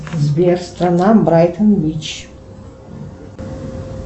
сбер страна брайтон бич